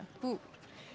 þú